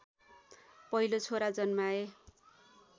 पहिलो छोरा जन्माए